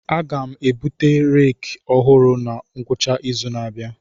Aga m ebute reeki ọhụrụ na ngwụcha izu na-abịa.